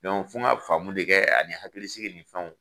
fo ka faamu de kɛ ani hakili sigi nin fɛnw.